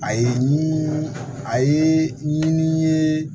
A ye ni a ye ni ye